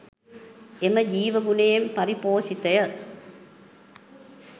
එම ජීවගුණයෙන් පරිපෝෂිතය.